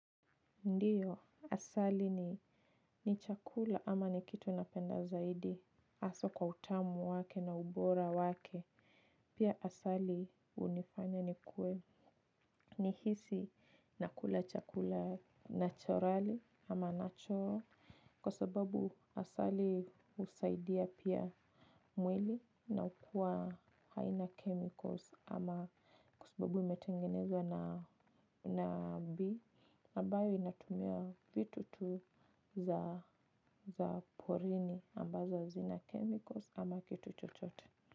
Ndiyo asali ni chakula ama ni kitu napenda zaidi haswa kwa utamu wake na ubora wake. Pia asali unifanya nikue ni hisi nakula chakula naturali ama natural. Kwa sababu asali husaidia pia mwili na ukua haina chemicals ama kwa sababu imetengenezwa na na bee amabayo inatumia vitu tu za porini ambazo hazina chemicals ama kitu chochote.